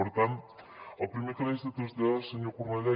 per tant el primer que li haig de traslladar senyor cornellà